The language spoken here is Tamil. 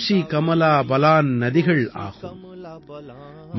கோசி கமலா பலான் நதிகள் ஆகும்